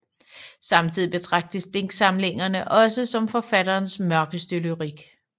Samtidig betragtes digtsamlingerne også som forfatterens mørkeste lyrik